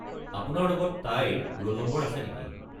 আপোনাৰ লগত তাইৰ ৰোল নম্বৰ আছে নেকি?